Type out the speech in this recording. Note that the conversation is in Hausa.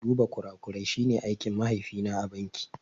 Duba kurakurai shi ne aikin mahaifi na a banki